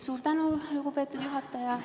Suur tänu, lugupeetud juhataja!